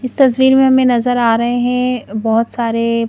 इस तस्वीर में हमें नजर आ रहे हैं बहुत सारे--